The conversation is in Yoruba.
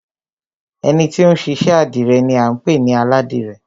Ẹni ti ó ń ṣiṣẹ́ àdìrẹ ni à ń pè ní Aládìrẹ